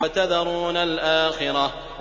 وَتَذَرُونَ الْآخِرَةَ